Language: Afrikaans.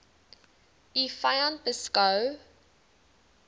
u vyand beskou